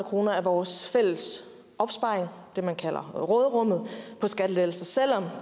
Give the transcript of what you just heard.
kroner af vores fælles opsparing det man kalder råderummet på skattelettelser selv om